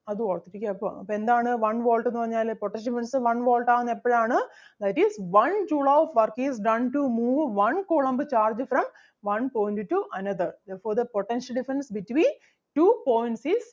അപ്പൊ എന്താണ് one volt എന്ന് പറഞ്ഞാല് potential difference one volt ആകുന്നത് എപ്പഴാണ് that is one joule of work is done to move one coulomb charge from one point to another. Therefore, the potential difference between two points is